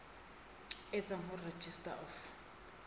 e tswang ho registrar of